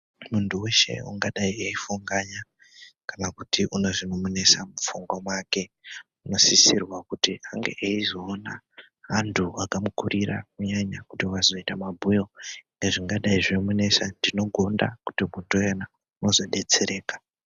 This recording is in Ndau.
Muntu weshe ungadai eifunganya kana kuti unezvinomunesa muofungwa mwake unodisirwa kuti ange eizoona antu akamukurira kunyanya kuti vazoita mabhuyo ezvingadai zveimunesa ndinoginda kuti kutoyana wozodetsereka .